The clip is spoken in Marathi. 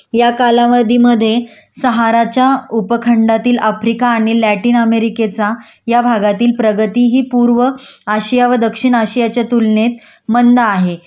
या कालावधीमधे शहराच्या उपखंडातील आफ्रिका आणि लॅटिन अमेरिकेचा या भागातील प्रगतीहि पूर्व आशिया व दक्षिणआशियाच्या तुलनेत मंद आहे